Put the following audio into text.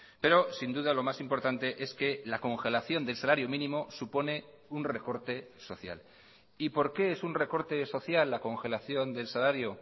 pero sin duda lo más importante es que la congelación del salario mínimo supone un recorte social y por qué es un recorte social la congelación del salario